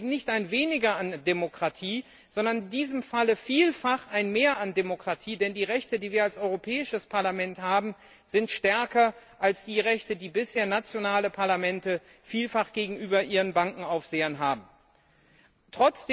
Dies bedeutet eben nicht ein Weniger an Demokratie, sondern in diesem Falle vielfach ein Mehr an Demokratie, denn die Rechte, die wir als Europäisches Parlament haben, sind stärker als die Rechte, die nationale Parlamente bisher gegenüber ihren Bankenaufsehern vielfach haben.